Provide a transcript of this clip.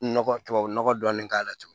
Nɔgɔ tubabu nɔgɔ dɔɔnin k'a la